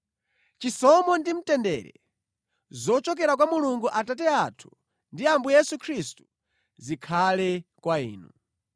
Chisomo ndi mtendere zochokera kwa Mulungu Atate athu ndi Ambuye Yesu Khristu zikhale kwa inu.